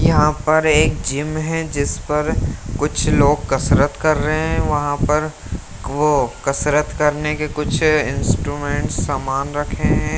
यहाँ पर एक जिम है जिस पर कुछ लोग कसरत कर रहे हैं वहाँ पर वो कसरत करने के कुछ इंस्ट्रूमेंट समान रखे हैं।